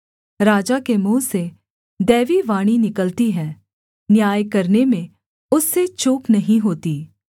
राजा के मुँह से दैवीवाणी निकलती है न्याय करने में उससे चूक नहीं होती